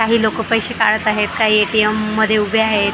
काही लोकं पैसे काढत आहेत काही ए_टी_एम मध्ये उभे आहेत.